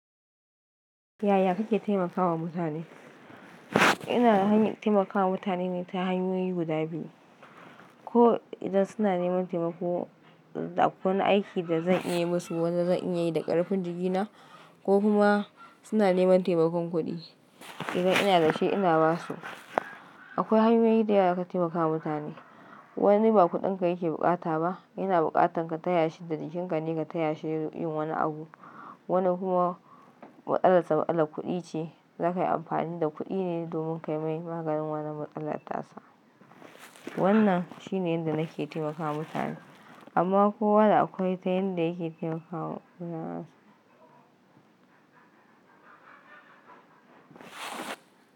Yaya kake taimakawa mutane? Ina han-- taimakawa mutane ne ta hanyoyi guda biyu, ko idan suna neman taimako da akwai wani aiki da zan iya yi musu wanda zan iya yi da ƙarfin jikina, ko kuma suna neman taimakon kuɗi. Idan ina da shi, ina ba su. Akwai hanyoyi da yawa dazaka taimakawa mutane. Wani ba kuɗinka yake bukata ba, yana bukatan ka taya shi da jikinka ne ka taya shi yin wani abu. Wani kuma matsalar sa matsalar kuɗi ce, za ka yi amfani da kuɗi ne domin kai mai maganin wannan matsalar tasa. Wannan shine inda nake taimakawa mutane, amma kowa da akwai ta yanda yake taimakawa mutane.